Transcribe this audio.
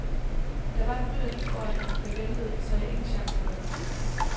Der var en rytter lige foran mig, der væltede, så jeg ingen chancer havde.